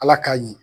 Ala k'a ɲi